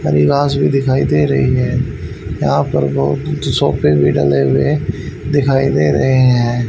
परिवाश भी दिखाई दे रही है यहां पर बहुत सोफे भी लगे हुए दिखाई दे रही हैं।